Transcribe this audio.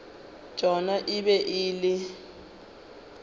tšona e be e le